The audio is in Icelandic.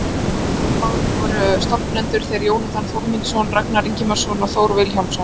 Í seinna málinu voru stefnendur þeir Jónatan Þórmundsson, Ragnar Ingimarsson og Þór Vilhjálmsson.